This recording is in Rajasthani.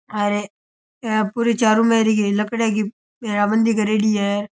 और पूरी चारोमेर लकड़ियों की घेरा बंदी करेड़ी है।